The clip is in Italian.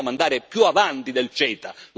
Noi vogliamo andare più avanti del CETA.